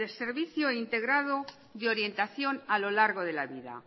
servicio integrado de orientación a lo largo de la vida